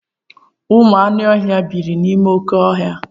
Ụmụ anụ ọhịa biiri n'ime oké ọhịa.